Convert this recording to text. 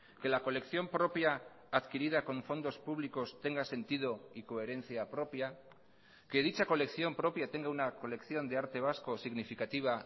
que la colección propia adquirida con fondos públicos tenga sentido y coherencia propia que dicha colección propia tenga una colección de arte vasco significativa